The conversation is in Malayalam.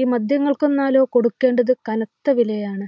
ഈ മദ്യങ്ങൾക്കൊന്നാലോ കൊടുക്കേണ്ടത് കനത്ത വിലയാണ്